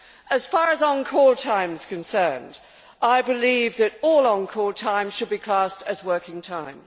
As far as on call' time is concerned, I believe that all on call' time should be classed as working time.